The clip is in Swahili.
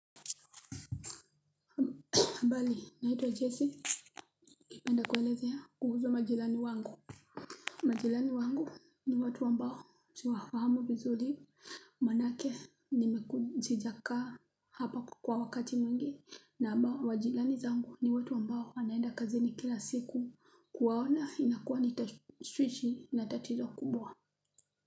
Habari, naitwa jesse, ningependa kuelezea kuhusu majirani wangu majirani wangu ni watu ambao siwafahamu vizuri manake sijakaa hapa kwa wakati mwingi na majirani zangu ni watu ambao wanaenda kazini kila siku kuwaona inakuwa ni tashwishi na tatizo kubwa.